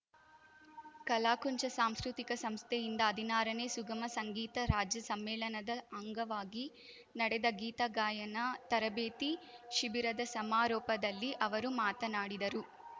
ಕಲಾಕುಂಚ ಸಾಂಸ್ಕೃತಿಕ ಸಂಸ್ಥೆಯಿಂದ ಹದಿನಾರನೇ ಸುಗಮ ಸಂಗೀತ ರಾಜ್ಯ ಸಮ್ಮೇಳನದ ಅಂಗವಾಗಿ ನಡೆದ ಗೀತ ಗಾಯನ ತರಬೇತಿ ಶಿಬಿರದ ಸಮಾರೋಪದಲ್ಲಿ ಅವರು ಮಾತನಾಡಿದರು